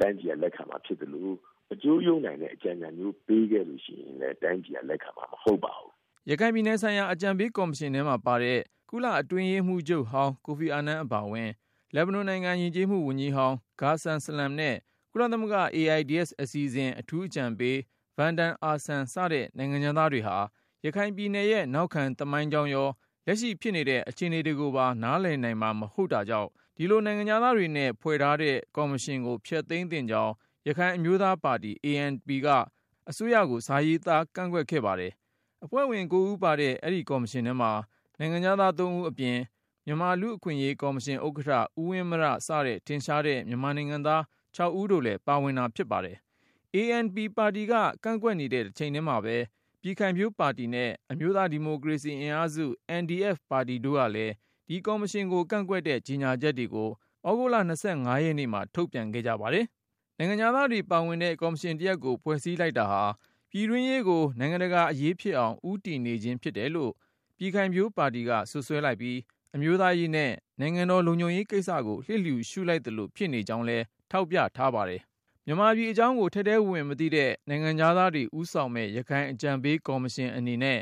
တိုင်းပြည်ကလက်ခံမှာဖြစ်သလို ၊ အကျိုးယုတ်နိုင်တဲ့ အကြံဉာဏ်မျိုးဖြစ်ခဲ့လို့ရှိရင်လည်း တိုင်းပြည်က လက်ခံမှာမဟုတ်ပါဘူး။" ရခိုင်ပြည်နယ်ဆိုင်ရာ အကြံပေးကော်မရှင်ထဲမှာပါတဲ့ ကုလအတွင်းရေးမှူးချုပ်ဟောင်း Kofi Annan အပါအဝင်၊ လက်ဘနွန်နိုင်ငံ ယဉ်ကျေးမှု ဝန်ကြီးဟောင်း ဂါဆန်ဆလမ်နဲ့ ကုလသမဂ္ဂ AIDS အစီအစဉ် အထူးအကြံပေး ဗန်ဒန်အာဆမ် စတဲ့ နိုင်ငံခြားသားတွေဟာ ရခိုင်ပြည်နယ်ရဲ့ နောက်ခံသမိုင်းကြောင်းရော၊ လက်ရှိဖြစ်နေတဲ့ အခြေအနေတွေကိုပါ နားလည်နိုင်မှာ မဟုတ်တာကြောင့် ဒီလို နိုင်ငံခြားသားပုဂ္ဂိုလ် တွေနဲ့ ဖွဲ့ထားတဲ့ ကော်မရှင်ကို ဖျက်သိမ်းသင့်ကြောင်း ရခိုင်အမျိုးသားပါတီ ANP က အစိုးရကို စာရေးသားကန့်ကွက်ခဲ့ပါတယ်။ အဖွဲ့ဝင် ၉ ဦး ပါတဲ့ အဲဒီကော်မရှင်ထဲမှာ နိုင်ငံခြားသား ၃ဦးအပြင်၊ မြန်မာ လူ့အခွင့်အရေးကော်မရှင်ဥက္ကဌ ဦးဝင်းမြ စတဲ့ ထင်ရှားသူ မြန်မာနိုင်ငံသား ၆ ဦးတို့လဲ ပါဝင်တာဖြစ်ပါတယ်။ ANP ပါတီက ကန့်ကွက်နေတဲ့ တချိန်ထဲမှာပဲ ပြည်ခို်င်ဖြိုးပါတီနဲ့ အမျိုးသားဒီမိုကရေစီအင်အားစု NDF ပါတီတို့ကလည်း ဒီကော်မရှင်ကို ကန့်ကွက်တဲ့ ကြေညာချက်တွေကို သြဂုတ်လ ၂၅ ရက်နေ့မှာ ထုတ်ပြန်ခဲ့ကြပါတယ်။ နိုင်ငံခြားသားတွေပါဝင်တဲ့ ကော်မရှင်တရပ်ကို ဖွဲ့စည်း လိုက်တာဟာ ပြည်တွင်းရေးကို နိုင်ငံတကာအရေးဖြစ်အောင် ဦးတည်နေခြင်းဖြစ်တယ်လို့ ပြည်ခိုင်ဖြိုးပါတီက စွပ်စွဲလိုက်ပြီး၊ အမျိုးသားရေးနဲ့ နိုင်ငံတော် လုံခြုံရေးကိစ္စကို လျှစ်လျှူရှုလိုက်သလို ဖြစ်နေကြောင်းလဲ ထောက်ပြထားပါတယ်။ မြန်မာပြည်အကြောင်းကို ထဲထဲဝင်ဝင်မသိတဲ့ နိုင်ငံခြားသားတွေ ဦးဆောင်မယ့် ရခိုင်အကြံပေး ကော်မရှင်အနေနဲ့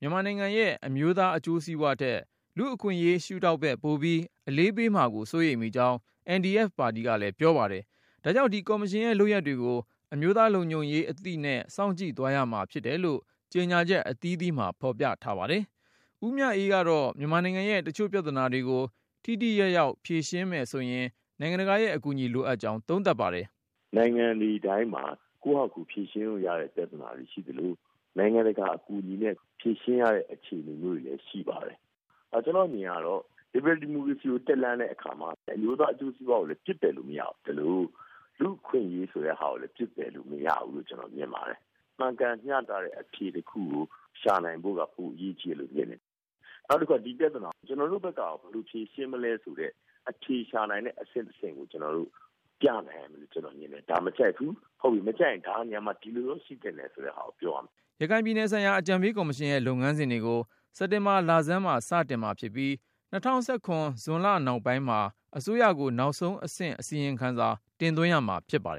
မြန်မာနိုင်ငံရဲ့ အမျိုးသား အကျိုးစီးပွားထက် လူ့အခွင့်အရေး ရှုထောင့်ဘက် ပိုပြီးအလေးပေးမှာကို စိုးရိမ်မိကြောင်း NDF ပါတီကလည်းပြောပါတယ်။ ဒါ့ကြောင့် ဒီကော် မရှင်ရဲ့လုပ်ရပ်တွေကို အမျိုးသားလုံခြုံရေးအသိနဲ့ စောင့်ကြည့်သွားရမှာဖြစ်တယ်လို့ ကြေညာချက်အသီးသီးမှာ ဖေါ်ပြထားပါတယ်။ ဦးမြအေးကတော့ မြန်မာနိုင်ငံရဲ့တချို့ပြဿနာတွေကို ထိထိရောက်ရောက် ဖြေရှင်းမယ်ဆိုရင် နိုင်ငံတကာရဲ့ အကူအညီ လိုအပ်ကြောင်း သုံးသပ် ပါတယ်။ “နိုင်ငံတွေတိုင်းမှာ ကိုယ့်ဟာကိုယ်ဖြေရှင်းလို့ရတဲ့ပြဿနာတွေရှိသလို နိုင်ငံတကာ အကူအညီနဲ့ ဖြေရှင်းရတဲ့ အခြေအနေတွေရှိပါတယ်။ ကျနော့်အမြင်ကတော့ ဒီမိုကရေစီတက်လှမ်းတဲ့ အခါမှာ အမျိုးသားအကျိုးစီးပွားကိုပစ်ပယ်လို့မရသလို လူ့အခွင့်အရေးဆိုတဲ့ဟာကို ပစ်ပယ်လို့မရဘူးလို့ ကျနော်မြင်ပါတယ်။ မှန်ကန်မျှတတဲ့အဖြေတခုကို ရှာနိုင်ဖို့က ပိုအရေးကြီးတယ်လို့မြင်တယ်။ နောက်တခုက ဒီပြဿနာကို ကျနော်တို့ဘက်ကရော ဘယ်လိုဖြေရှင်းမလဲဆိုတဲ့ အဖြေရှာနိုင်တဲ့အဆင့် ၁ ဆင့်ကို ကျနော်တို့ ပြနိုင်ရမယ်လို့ မြင်တယ်။ ဒါမကြိုက်ဘူး ဟုတ်ပြီ ဒါမကြိုက်ရင် ဒါဘယ်လိုရှိသင့်တယ် ဆိုတာကိုပြောရမယ်။" ရခိုင်ပြည်နယ်ဆိုင်ရာ အကြံပေးကော်မရှင်ရဲ့ လုပ်ငန်းစဉ်တွေကို စက်တင်ဘာလဆန်းမှာ စတင်မှာဖြစ်ပြီး၊ ၂၀၁၇ ခုနှစ် ဇွန်လနောက်ပိုင်းမှာ အစိုးရကို နောက်ဆုံးအဆင့် အစီရင်ခံစာ တင်သွင်းရမှာဖြစ်ပါတယ်